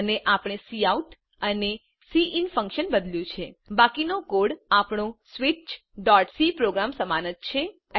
અને આપણે કાઉટ અને સિન ફન્કશન બદલ્યું છે બાકીનો કોડ આપણો switchસી પ્રોગ્રામ સમાન જ છે